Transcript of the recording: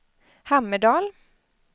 Hammerdal